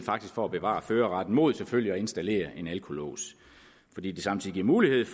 for at bevare førerretten mod selvfølgelig at installere en alkolås fordi det samtidig giver mulighed